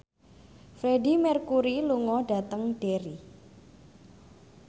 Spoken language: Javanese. Freedie Mercury lunga dhateng Derry